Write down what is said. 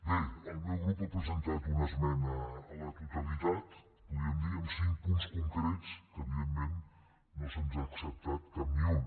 bé el meu grup ha presentat una esmena a la totalitat podríem dir ne amb cinc punts concrets que evidentment no se’ns n’ha acceptat cap ni un